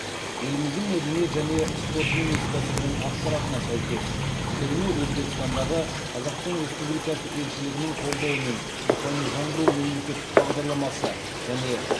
еліміздің мәдениет және спорт министрлігінің ақпаратына сәйкес көрме өзбекстандағы қазақстан республикасы елшілігінің қолдауымен рухани жаңғыру мемлекеттік бағдарламасы және